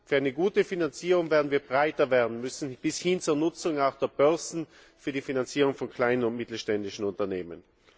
Für eine gute Finanzierung werden wir breiter werden müssen bis hin zur Nutzung auch der Börsen für die Finanzierung von kleinen und mittelständischen Unternehmen.